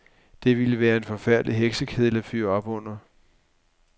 Det ville være en forfærdelig heksekedel at fyre op under.